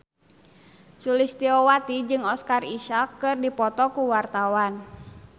Sulistyowati jeung Oscar Isaac keur dipoto ku wartawan